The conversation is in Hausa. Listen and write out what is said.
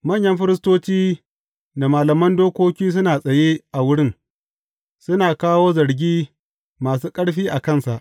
Manyan firistoci da malaman dokoki suna tsaye a wurin, suna kawo zargi masu ƙarfi a kansa.